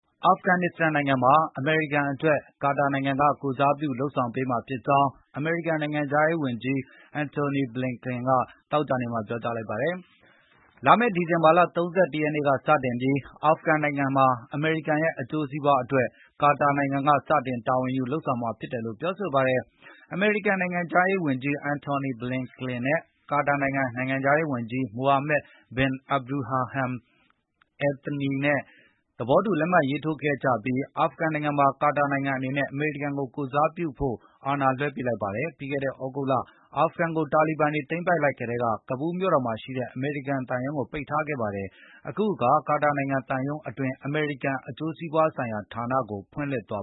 အာဖဂန်နစ္စတန်နိုင်ငံမှာ အမေရိကန်အတွက် ကာတာနိုင်ငံက ကိုယ်စားပြုလုပ်ဆောင်ပေးမှာဖြစ် ကြောင်း အမေရိကန်နိုင်ငံခြားရေးဝန်ကြီး Antony Blinken က သောကြာနေ့မှာ ပြောကြားလိုက်ပါ တယ်။ လာမယ့် ဒီဇင်ဘာလ ၃၁ ရက်နေ့ကစတင်ပြီး အာဖဂန်နစ္စတန်နိုင်ငံမှာ အမေရိကန်ရဲ့အကျိုးစီးပွားအတွက် ကာတာနိုင်ငံကစတင်တာဝန်ယူလုပ်ဆောင်မှာဖြစ်တယ်လို့ပြောဆိုခဲ့ပါတယ်။ အမေရိကန်နိုင်ငံခြားရေးဝန်ကြီး Antony Blinken နဲ့ ကာတာ နိုင်ငံခြားရေးဝန်ကြီး မိုဟာမက် ဘင် အပ်ဒူရာဟမ် အယ်သနီ နဲ့ သဘောတူလက်မှတ်ရေးထိုးခဲ့ကြပြီး၊ အာဖဂန်နိုင်ငံမှာ ကွာတာနိုင်ငံအနေနဲ့ အမေရိကန်ကိုကိုယ်စားပြုဖို့ အာဏာလွဲှအပ်လိုက်ပါတယ်။ ပြီးခဲ့တဲ့ သြဂုတ်လ အာဖဂန်နစ္စတန်နိုင်ငံကို တာလီဘန်တွေသိမ်းပိုက်လိုက်ကတည်းက ကာဘူးမြို့တော်မှာရှိတဲ့ အမေရိကန်သံရုံးကို ပိတ်ထားခဲ့ပါတယ်။ အခုအခါ ကာတာနိုင်ငံသံရုံးအတွင်း အမေရိကန်အကျိုးစီးပွားဆိုင်ရာဌာနကို ထည့်သွင်းဖွင့်လှစ်သွာ